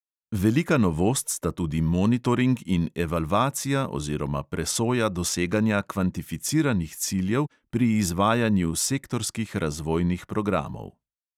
Velika novost sta tudi monitoring in evalvacija oziroma presoja doseganja kvantificiranih ciljev pri izvajanju sektorskih razvojnih programov.